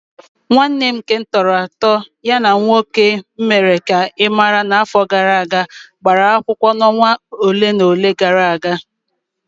Nwanne m nke m tọrọ atọ ya na nwoke m mere ka ị mara n'afọ gara aga gbara akwụkwọ na onwa olé na olé gara aga.